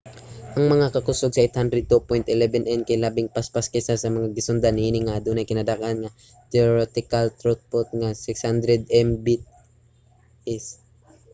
ang mga kakusog sa 802.11n kay labing paspas kaysa sa mga gisundan niini nga adunay kinadak-an nga theoretical throughput nga 600mbit/s